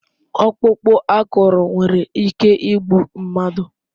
Ọkpụkpụ akụrụ nwere ike igbu mmadụ